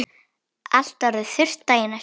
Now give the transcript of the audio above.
Allt orðið þurrt daginn eftir.